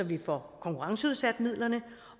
vi får konkurrenceudsat midlerne